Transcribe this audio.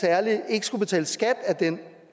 ikke skulle betale skat af den